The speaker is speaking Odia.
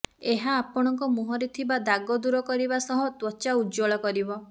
ଏହା ଆପଣଙ୍କ ମୁହଁରେ ଥିବା ଦାଗ ଦୂର କରିବା ସହ ତ୍ୱଚା ଉଜ୍ୱଳ କରିବ